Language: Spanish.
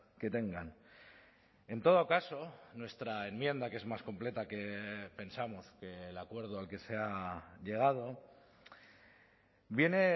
que tengan en todo caso nuestra enmienda que es más completa que pensamos que el acuerdo al que se ha llegado viene